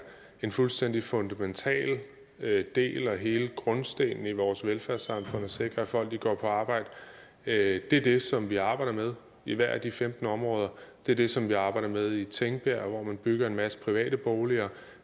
en fuldstændig fundamental del og hele grundstenen i vores velfærdssamfund at sikre at folk går på arbejde det er det som vi arbejder med i hvert af de femten områder det er det som vi arbejder med i tingbjerg hvor man bygger en masse private boliger